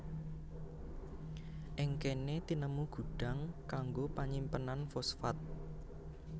Ing kéné tinemu gudhang kanggo panyimpenan fosfat